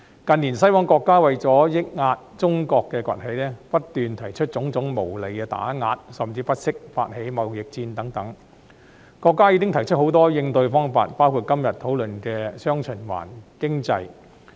近年，西方國家為抑壓中國崛起，不斷提出種種無理的打壓，甚至不惜發起貿易戰，國家已提出很多應對方法，包括今天討論的"雙循環"經濟。